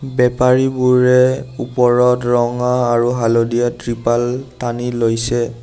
বেপাৰীবোৰে ওপৰত ৰঙা আৰু হালধীয়া ত্ৰিপাল টানি লৈছে।